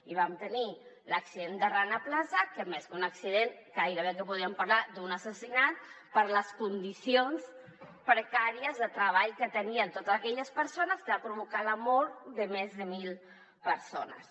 i vam tenir l’accident de rana plaza que més que un accident gairebé que podríem parlar d’un assassinat per les condicions precàries de treball que tenien totes aquelles persones que va provocar la mort de més de mil persones